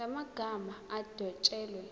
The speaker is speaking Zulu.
la magama adwetshelwe